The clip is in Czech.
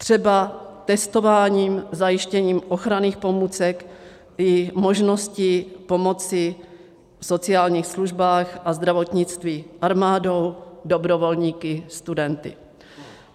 Třeba testováním, zajištěním ochranných pomůcek i možností pomoci v sociálních službách a zdravotnictví armádou, dobrovolníky, studenty.